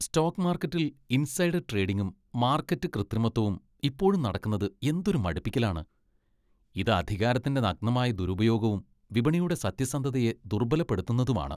Stock മാർക്കറ്റിൽ insider ട്രേഡിംഗും market കൃത്രിമത്വവും ഇപ്പോഴും നടക്കുന്നത് എന്തൊരു മടുപ്പിക്കലാണ്. ഇത് അധികാരത്തിന്റെ നഗ്നമായ ദുരുപയോഗവും വിപണിയുടെ സത്യസന്ധതയെ ദുർബലപ്പെടുത്തുന്നതുമാണ്.